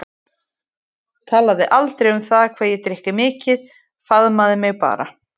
Talaði aldrei um það hvað ég drykki mikið, faðmaði mig bara.